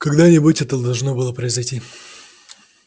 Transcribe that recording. когда-нибудь это должно было произойти